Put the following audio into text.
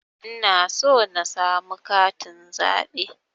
Ina so na samu katin zaɓe